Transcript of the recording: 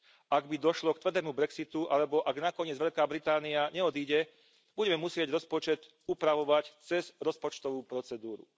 Ak by došlo k tvrdému brexitu alebo ak nakoniec Veľká Británia neodíde, budeme musieť rozpočet upravovať cez rozpočtový postup.